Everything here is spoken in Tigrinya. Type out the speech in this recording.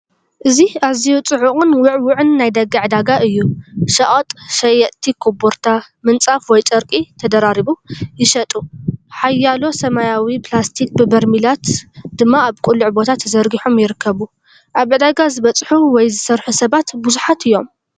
እዚ ኣዝዩ ጽዑቕን ውዕዉዕን ናይ ደገ ዕዳጋ እዩ። ሸቐጥ፦ ሸየጥቲ ኮቦርታ፡ ምንጻፍ ወይ ጨርቂ (ተደራሪቡ) ይሸጡ፣ ሓያሎ ሰማያዊ ፕላስቲክ በርሚላት ድማ ኣብ ቅሉዕ ቦታ ተዘርጊሖም ይርከቡ። ኣብ ዕዳጋ ዝበፅሑ ወይ ዝሰርሑ ሰባት ብዙሓት እዮም።